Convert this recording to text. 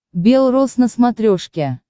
белрос на смотрешке